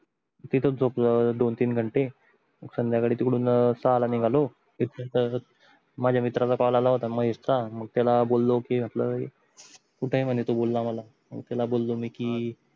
तिथच झोपलो दोन तीन घंटे संध्याकाळी तिकडून सहाला निघालो त्यानंतर माझ्या मित्राचा काल आला होता महेश चा मग त्याला बोललो कि म्हटल कुठ आहे म्हणे तो बोलला मला मग त्याला बोललो मी कि